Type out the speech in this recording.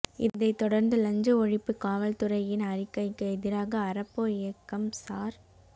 இதைத் தொடர்ந்து லஞ்ச ஒழிப்பு காவல்துறையின் அறிக்கைக்கு எதிராக அறப்போர் இயக்கம் சார்